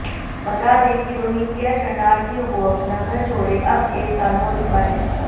बता दें कि रोहिंग्या शरणार्थियों को अपना घर छोड़े अब एक साल हो चुका है